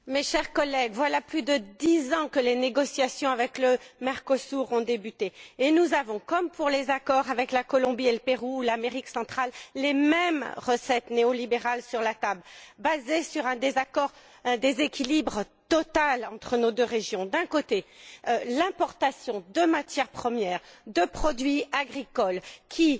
Monsieur le Président, chers collègues, voilà plus de dix ans que les négociations avec le Mercosur ont débuté. Nous avons, comme pour les accords avec la Colombie et le Pérou, ou encore l'Amérique centrale, les mêmes recettes néolibérales sur la table, basées sur un désaccord, un déséquilibre total entre nos deux régions d'un côté, l'importation de matières premières, de produits agricoles, qui